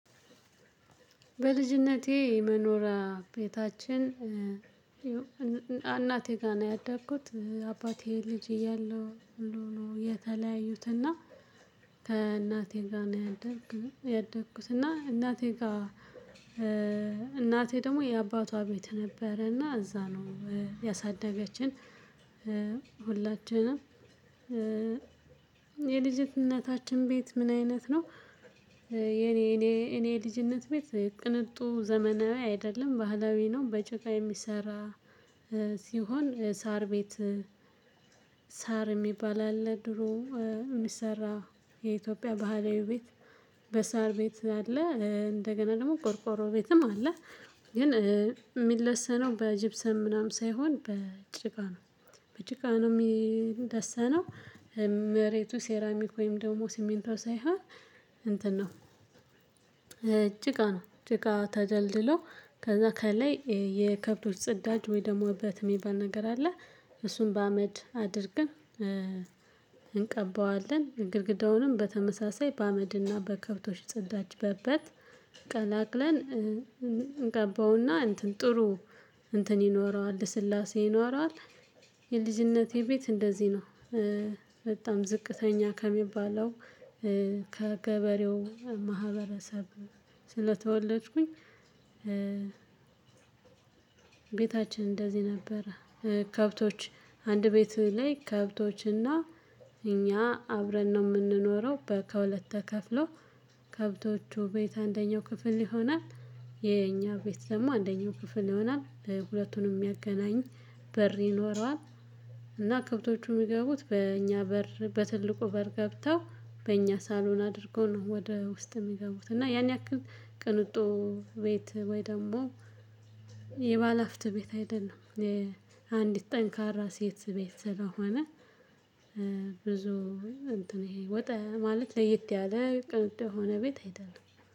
በልጅነቴ መኖሪያ ቤታችን እናቴ ጋር ነው ያደግኩት። አባቴ ልጅ እያለሁ ነው የተለያዩትና ከእናቴ ጋር ነው ያደግኩት። እና እናቴ ጋር እናቴ ደግሞ የአባቷ ቤት ነበረና እዛ ነው ያሳደገችን ሁላችንንም። የልጅነታችን ቤት ምን አይነት ነው? የኔ የኔ የኔ ልጅነት ቤት ቅንጡ ዘመናዊ አይደለም ባህላዊ ነው። በጭቃ የሚሰራ ሲሆን ሳር ቤት። ሳር የሚባል አለ ድሮ የሚሰራ የኢትዮጵያ ባህላዊ ቤት። በሳር ቤት አለ እንደገና ደግሞ ቆርቆሮ ቤትም አለ። ግን የሚለሰነው በጂብሰን ምናምን ሳይሆን በጭቃ ነው። በጭቃ ነው የሚለሰነው። መሬቱ ሴራሚክ ወይም ደግሞ ሲሚንቶ ሳይሆን እንትን ነው። ጭቃ ነው ጭቃ ተደልድሎ ከዛ ከላይ የከብቶች ጽዳች ወይ ደግሞ እበት የሚባል ነገር አለ። እሱን በአመድ አድርገን እንቀባዋለን። ግርግዳውንም በተመሳሳይ በአመድና በከብቶች ጸዳጅ በእበት ቀላቅለን እንቀባውና እንትን ጥሩ እንትን ይኖረዋል ልስላሴ ይኖረዋል። የልጅነቴ ቤት እንደዚህ ነው። በጣም ዝቅተኛ ከሚባለው ከገበሬው ማህበረሰብ ስለተወለድኩኝ። ቤታችን እንደዚህ ነበረ። ከብቶች አንድ ቤት ላይ ከብቶችና እኛ አብረን ነው የምንኖረው። ከሁለት ተከፍሎ ከብቶቹ ቤት አንደኛው ክፍል ይሆናል። የኛ ቤት ደግሞ አንደኛው ክፍል ይሆናል ሁለቱንም የሚያገናኝ በር ይኖረዋል። እና ከብቶቹ የሚገቡት በእኛ በር በትልቁ በር ገብተው በእኛ ሳሎን አድርገው ነው ወደ ውስጥ የሚገቡት። እና ያን ያክል ቅንጡ ቤት ወይ ደግሞ የባለሀብት ቤት አይደለም። አንዲት ጠንካራ ሴት ቤት ስለሆነ ብዙ እንትን ወጣ ማለት ለየት ያለ ቅንጡ የሆነ ቤት አይደለም።